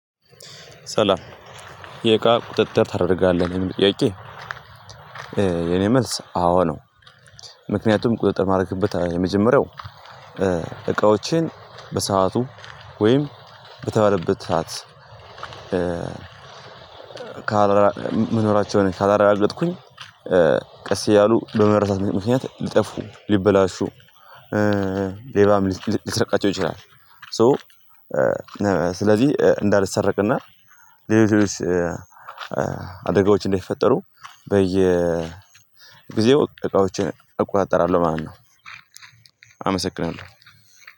ሰላም የእቃ ቁጥጥር ታደርጋለህ ለሚለው ጥያቄ የኔ መልስ አዎ ነው። ምክንያቱም ቁጥጥር ማድረግበት የመጀመሪያው እቃዎችን በሰአቱ ወይም በተባለበት ሰዓት ካላረጋገጥኩኝ ቀስ እያሉ በመረሳት ምክንያት ሊጠፉ ሊበላሹ ሌባም ሊሰርቃቸው ይችላል። ሶ ስለዚህ እንዳልሰረቅ እና ሌሎች ሌሎች አደጋዎች እንደሚፈጠሩ በየ ጊዜወ እቃዎችን እቆጣጠራለሁ ማለት ነው። አመሰግናለሁ